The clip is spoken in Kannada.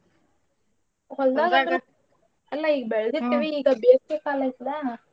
ಅಲ್ಲಾ ಈಗ್ ಬೆಳ್ದಿರ್ತೀವಿ ಬೇಸ್ಗೆ ಕಾಲ ಐತೆಲ್ಲಾ.